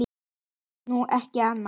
Ég segi nú ekki annað.